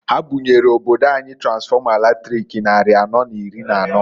Ha bunyelu obodo anyị tansfọma latrik nnarị anọọ n'iri n'anọọ.